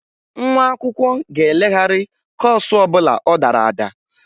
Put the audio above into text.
Nwa akwụkwọ ga-elegharị kọọsụ ọ bụla ọ dara ada.